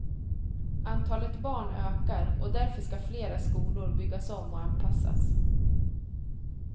Antalet barn ökar och därför ska flera skolor byggas om och anpassas.